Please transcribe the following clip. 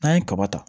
N'an ye kaba ta